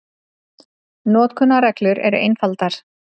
Notkunarreglur eru einfaldar.